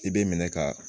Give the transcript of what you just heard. I bɛ minɛ ka